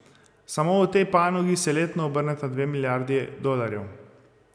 Samo v tej panogi se letno obrneta dve milijardi dolarjev.